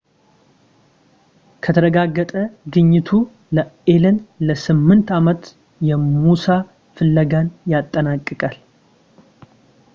ከተረጋገጠ ግኝቱ ለአሌን ለስምንት ዓመት የሙሳ ፍለጋን ያጠናቅቃል